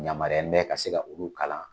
Yamariyalen bɛ ka se ka olu kalan